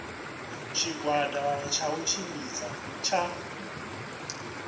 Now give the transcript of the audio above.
tshigwada tsha u tshimbidza tsha